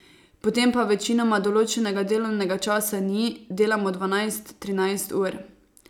Potem pa večinoma določenega delovnega časa ni, delamo dvanajst, trinajst ur.